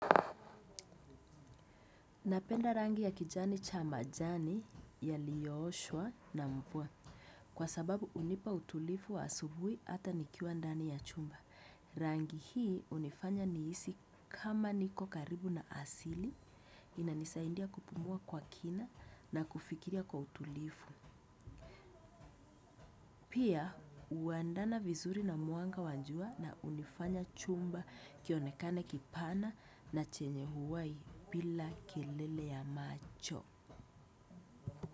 Napenda rangi ya kijani cha majani yaliyoshwa na mvua kwa sababu unipa utulifu wa asubui ata nikiwa ndani ya chumba. Rangi hii unifanya niisi kama niko karibu na asili inanisaindia kupumua kwa kina na kufikiria kwa utulifu. Pia uandana vizuri na muanga wanjua na unifanya chumba kionekane kipana na chenye huwai bila kelele ya macho.